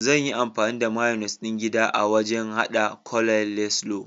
Zan yi amfani da mayunis ɗin gida a wajan haɗa coleslaw.